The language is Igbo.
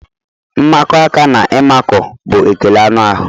Mmakọ aka na ịmakụ bụ ekele anụ ahụ.